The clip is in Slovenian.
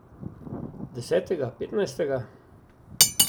Desetega, petnajstega?